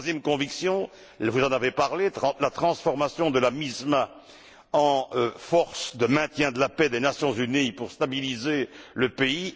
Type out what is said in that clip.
Ma troisième conviction, vous en avez parlé, c'est la transformation de la MISMA en force de maintien de la paix des Nations unies chargée de stabiliser le pays.